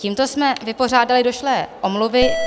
Tímto jsme vypořádali došlé omluvy.